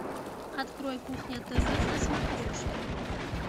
открой кухня тв на смотрешке